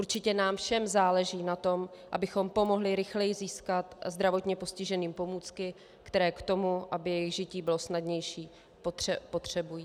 Určitě nám všem záleží na tom, abychom pomohli rychleji získat zdravotně postiženým pomůcky, které k tomu, aby jejich žití bylo snadnější, potřebují.